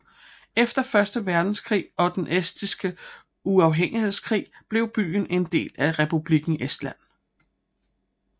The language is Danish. Efter Første Verdenskrig og den estiske uafhængighedskrig blev byen en del af Republikken Estland